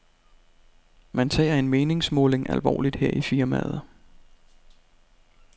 Man tager en meningsmåling alvorligt her i firmaet.